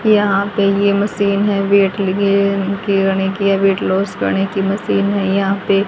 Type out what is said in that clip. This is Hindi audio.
यहां पे यह मशीन है वेट लिए खेलने के लिए वेट लॉस करने की मशीन है यहां पे --